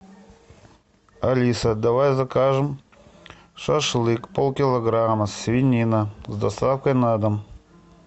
алиса давай закажем шашлык полкилограмма свинина с доставкой на дом